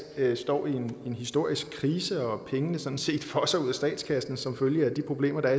står i en historisk krise og pengene sådan set fosser ud af statskassen som følge af de problemer der